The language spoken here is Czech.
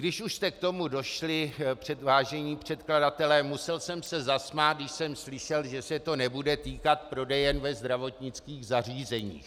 Když už jste k tomu došli, vážení předkladatelé, musel jsem se zasmát, když jsem slyšel, že se to nebude týkat prodejen ve zdravotnických zařízeních.